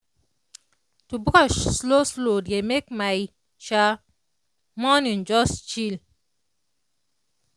to brush slow slow dey make my [sha] morning just chill.